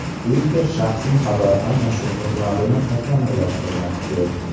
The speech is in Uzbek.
Twitter shaxsiy xabar almashuv xizmatini takomillashtirmoqchi.